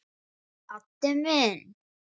Addi minn.